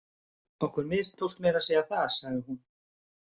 Okkur mistókst meira að segja það, sagði hún.